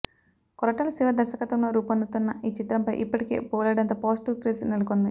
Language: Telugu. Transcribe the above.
కొరటాల శివ దర్శకత్వంలో రూపొందుతున్న ఈ చిత్రంపై ఇప్పటికే బోలెడంత పాజిటివ్ క్రేజ్ నెలకొంది